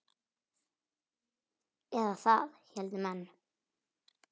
Eða það héldu menn.